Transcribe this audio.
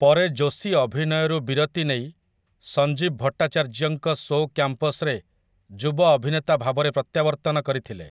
ପରେ ଯୋଶୀ ଅଭିନୟରୁ ବିରତି ନେଇ ସଞ୍ଜୀବ ଭଟ୍ଟାଚାର୍ଯ୍ୟଙ୍କ ଶୋ 'କ୍ୟାମ୍ପସ୍'ରେ ଯୁବ ଅଭିନେତା ଭାବରେ ପ୍ରତ୍ୟାବର୍ତ୍ତନ କରିଥିଲେ ।